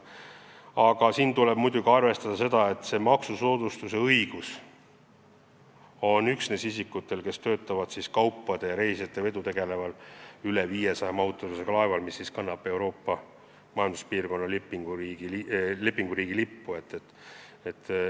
Siin tuleb muidugi arvestada seda, et selle maksusoodustuse õigus on üksnes isikutel, kes töötavad kaupade ja reisijate vedudega tegelevatel laevadel, mille kogumahutavus on vähemalt 500 tonni ja mis kannavad Euroopa Majanduspiirkonna lepinguriigi lippu.